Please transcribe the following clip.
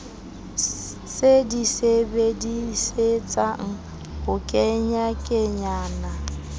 se di sebedisetsang ho kenyakenyana